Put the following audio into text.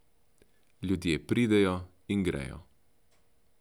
Ljudje pridejo in gredo.